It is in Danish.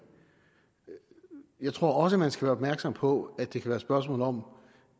men jeg tror også man skal være opmærksom på at det kan være et spørgsmål om